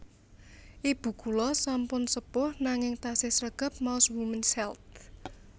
Ibu kula sampun sepuh nanging tasih sregep maos Womens Health